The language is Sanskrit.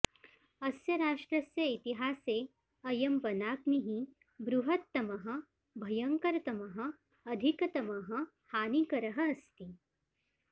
अस्य राष्ट्रस्य इतिहासे अयं वनाग्निः बृहत्तमः भयंकरतमः अधिकतमः हानिकरः अस्ति